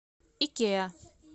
икеа